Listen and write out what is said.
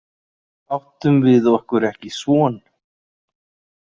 Áttum við okkur ekki son?